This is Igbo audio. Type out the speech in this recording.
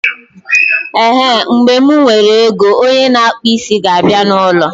Ehen, mgbe mụ nwere ego, onye na akpụ isi ga abịa na ụlọ